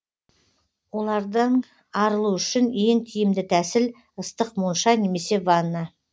олардан арылу үшін ең тиімді тәсіл ыстық монша немесе ванна